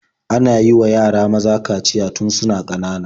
Ana yiwa yara maza kaciya tun suna ƙanana.